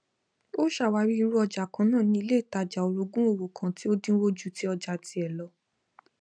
o ṣàwárí irú ọjá kannàà ní iléìtàjà orogún òwò kan tí o dínwó ju tí ọjà tíẹ lọ